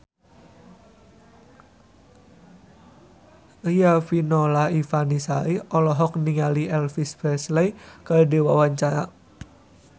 Riafinola Ifani Sari olohok ningali Elvis Presley keur diwawancara